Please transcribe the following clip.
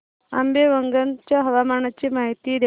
आंबेवंगन च्या हवामानाची माहिती द्या